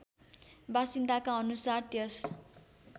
वासिन्दाका अनुसार त्यस